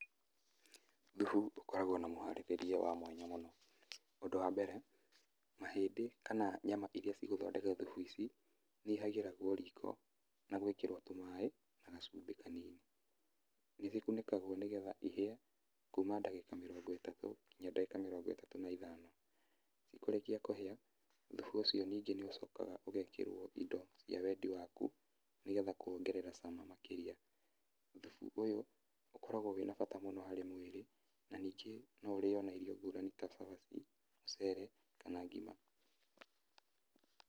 Thubu ũkoragwo na mũhaarĩrĩrie wa mwanya mũno. Ũndũ wa mbere mahĩndĩ kana nyama irĩa cigũthondeka thubu ici nĩ ihagĩragwo riko na gwĩkĩrwo tũmaĩ na gacumbĩ kanini. Nĩ igĩkunĩkagwo nĩgetha ihĩe kuuma ndagĩka mĩrongo ĩtatũ nginya ndagĩka mĩrongo ĩtatũ na ithano. Cikũrĩkia kũhĩa thubu ũcio ningĩ nĩ ũcokaga ningĩ ũcokaga ũgekĩrwo indo cia wendi waku nĩgetha kũwongerera cama makĩria. Thubu ũyũ ũkoragwo wĩna bata mũno harĩ mwĩrĩ na ningĩ no ũrĩo na irio ngũrani ta cabaci, mũcere kana ngima.